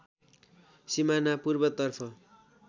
सिमाना पूर्वतर्फ